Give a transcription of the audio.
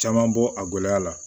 Caman bɔ a gɛlɛya la